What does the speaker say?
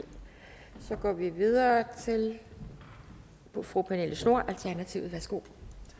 så går vi videre til fru pernille schnoor alternativet værsgo